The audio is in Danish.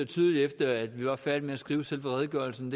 tydeligere efter at vi var færdige med at skrive redegørelsen